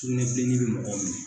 Sugunɛn bilennin bɛ mɔgɔ minɛ.